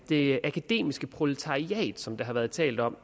det akademiske proletariat som der har været talt om